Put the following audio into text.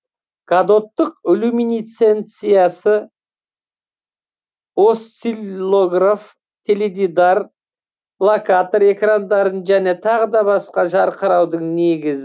катодтық люминесценция осциллограф теледидар локатор экрандарын және тағы басқа жарқыраудың негізі болып табылады